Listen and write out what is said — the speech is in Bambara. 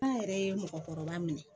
An yɛrɛ ye mɔgɔkɔrɔba minɛ